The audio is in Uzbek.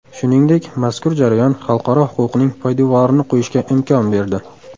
Shuningdek, mazkur jarayon xalqaro huquqning poydevorini qo‘yishga imkon berdi.